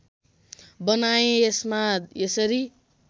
बनाएँ यसमा यसरी